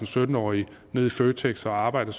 sytten årige ned i føtex og arbejde